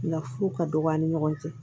Lafu ka dɔgɔ an ni ɲɔgɔn cɛ